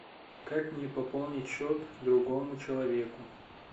как мне пополнить счет другому человеку